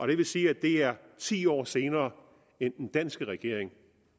det vil sige at det er ti år senere end den danske regering